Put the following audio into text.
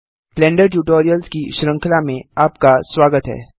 blender tutorials की श्रृंखला में आपका स्वागत है